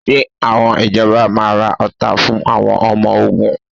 Ṣé àwọn ìjọba máa ra ọta fún àwọn ọmọ ogun?